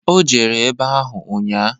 O jere ebe ahụ ụnnya.